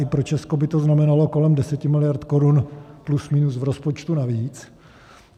I pro Česko by to znamenalo kolem 10 miliard korun plus minus v rozpočtu navíc.